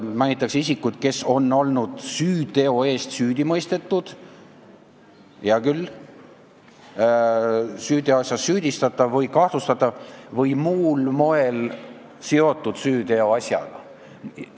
Mainitakse isikut, kes on olnud süüteo eest süüdi mõistetud – hea küll –, süüteoasjas süüdistatav või kahtlustatav või muul moel seotud süüteoasjaga.